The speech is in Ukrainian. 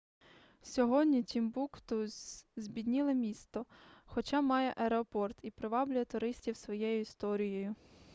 сьогодні тімбукту збідніле місто хоча має аеропорт і приваблює туристів своєю історією